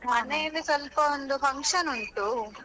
ಮನೆಯಲ್ಲಿ ಸ್ವಲ್ಪ ಒಂದು function ಉಂಟು.